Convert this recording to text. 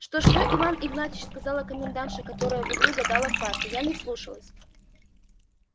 что что иван игнатьич сказала комендантша которая в углу гадала в карты я не вслушалась